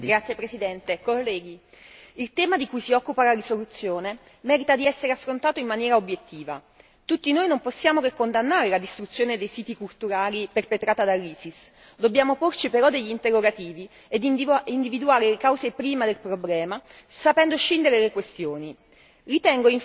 Signora Presidente, onorevoli colleghi, il tema di cui si occupa la risoluzione merita di essere affrontato in maniera obiettiva. Tutti noi non possiamo che condannare la distruzione dei siti culturali perpetrata dall'Isis, dobbiamo porci però degli interrogativi ed individuare le cause prime del problema sapendo scindere le questioni.